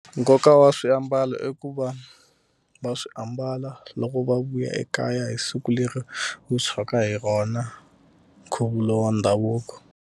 Nkoka wa swiambalo i ku va va swi ambala loko va vuya ekaya hi siku leri wu tshwaka hi rona nkhuvulo wa ndhavuko.